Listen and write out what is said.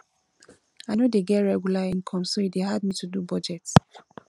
i no dey get regular income so e dey hard me to do budget